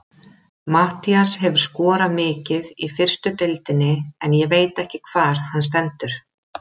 Matthías hefur skorað mikið í fyrstu deildinni en ég veit ekki hvar hann stendur.